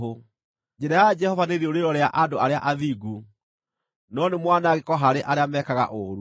Njĩra ya Jehova nĩ rĩũrĩro rĩa andũ arĩa athingu, no nĩ mwanangĩko harĩ arĩa mekaga ũũru.